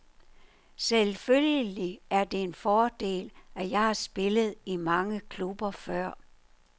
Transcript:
Selvfølgelig er det en fordel, at jeg har spillet i mange klubber før.